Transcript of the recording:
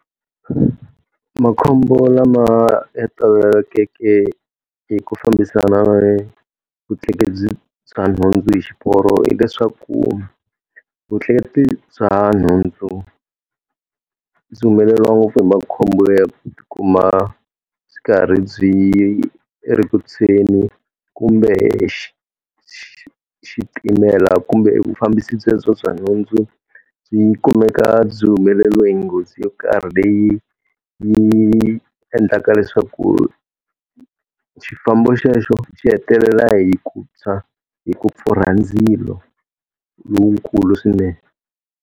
Makhombo lama ya toloveleke hi ku fambisana na vutleketli bya nhundzu hi xiporo hileswaku vutleketli bya nhundzu, byi humeleriwa ngopfu hi makhombo ya ku ti kuma byi ri karhi byi ri ku tshweni kumbe xitimela kumbe evufambisi byelebyo bya nhundzu byi kumeka byi humeleriwe hi nghozi yo karhi leyi yi endlaka leswaku xifambo xexo xi hetelela hi ku tshwa, hi ku pfurha ndzilo lowukulu swinene.